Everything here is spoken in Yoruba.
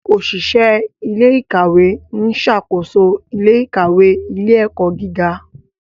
Oṣiṣẹ ilé-ìkawe n ṣàkóso ilé-ìkawe ilé-ẹkọ gíga.